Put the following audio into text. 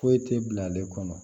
Foyi tɛ bila ale kɔnɔ